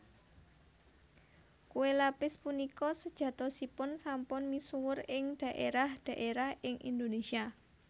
Kué lapis punika sejatosipun sampun misuwur ing dhaérah dhaérah ing Indonésia